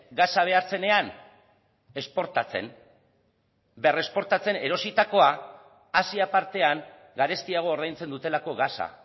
gasa behar zenean esportatzen berresportatzen erositakoa asia partean garestiago ordaintzen dutelako gasa